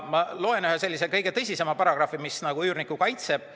Ma loen ette ühe kõige tõsisema paragrahvi, mis üürnikku kaitseb.